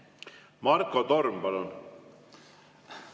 Marko Torm, palun!